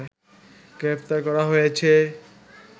গ্রেপ্তার করা হয়েছে